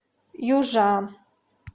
южа